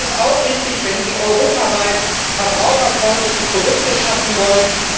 Es ist auch richtig, wenn Sie europaweit verbraucherfreundliche Produkte schaffen wollen.